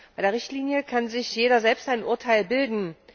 Bei der Richtlinie kann sich jeder selbst ein Urteil bilden.